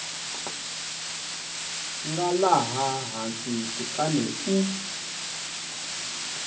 nga laha hansi kutani u